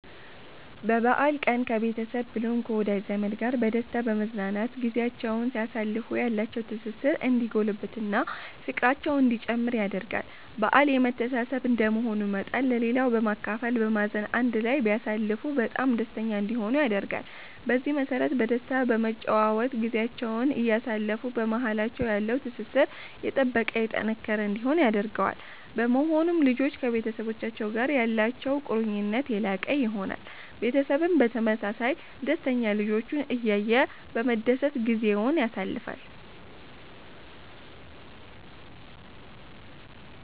በበአል ቀን ከቤተሰብ ብሎም ከወዳጅ ዘመድ ጋር በደስታ በመዝናናት ጊዚያቸዉን ሲያሳልፉ ያላቸዉ ትስስር እንዲጎለብት እና ፍቅራቸዉ እንዲጨምር ያደርጋል በአል የመተሳሰብ እንደመሆኑ መጠን ለሌላዉ በማካፈል በማዘን አንድ ላይ ቢያሳልፉ በጣም ደስተኛ እንዲሆኑ ያደርጋል። በዚህ መሰረት በደስታ በመጨዋወት ጊዚያቸዉን እያሳለፉ በማሃላቸዉ ያለዉ ትስስር የጠበቀ የጠነከረ እንዲሆን ያደርገዋል። በመሆኑም ልጆች ከቤተሰቡቻቸዉ ጋር ያላቸዉ ቁርኝት የላቀ ይሆናል። ቤተሰብም በተመሳሳይ ደስተኛ ልጆቹን እያየ በመደሰት ጊዜዉን ያሳልፋል